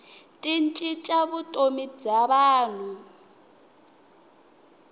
ti cinca vutomi bya vanhu